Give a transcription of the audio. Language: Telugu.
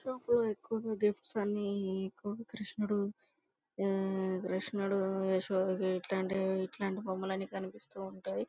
ఎక్కువగా గిఫ్ట్స్ అన్ని ఎక్కువగా కృష్ణుడు ఆ కృష్ణుడు ఏసోధవి ఇట్లాంటివి బొమ్మలన్నీ కనిపిస్తూ ఉంటాయి.